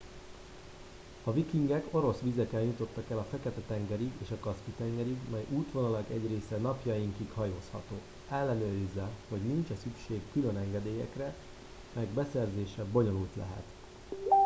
a vikingek orosz vizeken jutottak el a fekete tengerig és a kaszpi tengerig mely útvonalak egy része napjainkig hajózható ellenőrizze hogy nincs e szükség külön engedélyekre melyek beszerzése bonyolult lehet